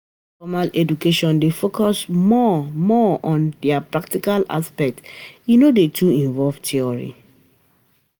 Informal education dey focus more more on di practical aspect e no dey too involve theory